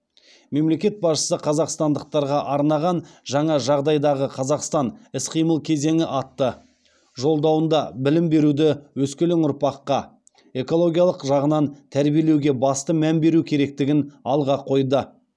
мемлекет басшысы қазақстандықтарға арнаған жаңа жағдайдағы қазақстан іс қимыл кезеңі атты жолдауында білім беруде өскелең ұрпаққа экологиялық жағынан тәрбиелеуге басты мән беру керектігін алға қойды